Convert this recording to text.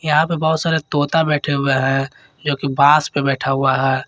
यहां पे बहुत सारे तोता बैठे हुए हैं जोकि बास पे बैठ हुआ है।